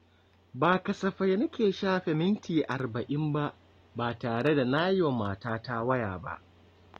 Ba kasafai nake shafe minti arba’in ba tare da na yi wa matata waya ba.